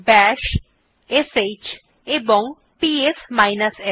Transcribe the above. বাশ শ্ এবং PS f